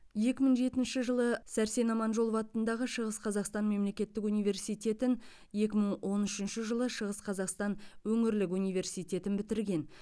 екі мың жетінші жылы сәрсен аманжолов атындағы шығыс қазақстан мемлекеттік университетін екі мың он үшінші жылы шығыс қазақстан өңірлік университетін бітірген